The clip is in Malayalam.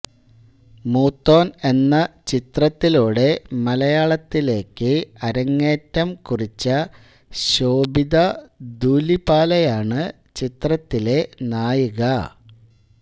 മൂത്തോൻ എന്ന ചിത്രത്തിലൂടെ മലയാളത്തിലേക്ക് അരങ്ങേറ്റം കുറിച്ച ശോഭിത ധുലിപാലയാണ് ചിത്രത്തിലെ നായിക